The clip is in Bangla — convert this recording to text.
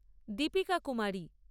দীপিকা কুমারী